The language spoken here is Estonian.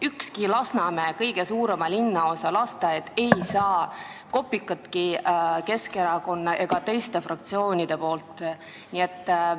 Ükski Lasnamäe, kõige suurema linnaosa lasteaed ei saa kopikatki Keskerakonnalt ega teistelt fraktsioonidelt.